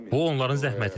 Bu onların zəhmətidir.